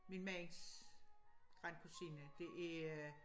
Min mands grandkusine det er